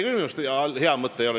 Minu arust see küll hea mõte ei ole.